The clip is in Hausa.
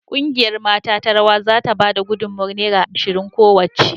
Kungiyar mata ta rawa za ta ba da gudummawar naira ashirin kowacce.